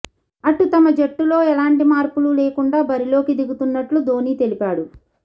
అటు తమ జట్టులో ఎలాంటి మార్పులు లేకుండా బరిలోకి దిగుతున్నట్లు ధోనీ తెలిపాడు